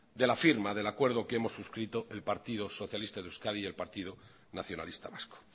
de la firma del acuerdo que hemos suscrito el partido socialista de euskadi y el partido nacionalista vasco